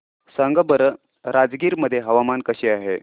सांगा बरं राजगीर मध्ये हवामान कसे आहे